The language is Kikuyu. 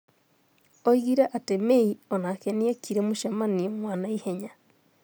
Oigire atĩ May onake nĩ ekire mũcemanio wa naihenya.